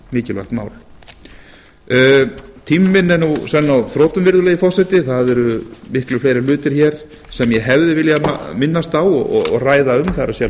mikilvægt mál tími minn er nú senn á þrotum virðulegi forseti það eru miklu fleiri hlutir hér sem ég hefði viljað minnast á og ræða um það er